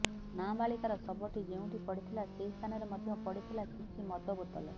ନାବାଳିକାର ଶବଟି ଯେଉଁଠି ପଡ଼ିଥିଲା ସେହି ସ୍ଥାନରେ ମଧ୍ୟ ପଡ଼ିଥିଲା କିଛି ମଦବୋତଲ